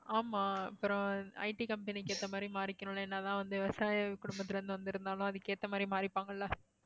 ஆமா அப்புறம் IT company க்கு ஏத்த மாதிரி மாறிக்கணும்ன்னு என்னதான் வந்து விவசாய குடும்பத்தில இருந்து வந்திருந்தாலும் அதுக்கு ஏத்த மாதிரி மாறிப்பாங்கல்ல